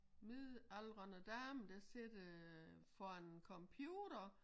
Midaldrende dame der sidder foran en computer